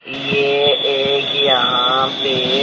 ये एक यहां पे--